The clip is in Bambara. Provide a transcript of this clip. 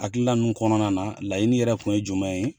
Hakilila ninnu kɔnɔna na laɲini yɛrɛ kun ye jumɛn ye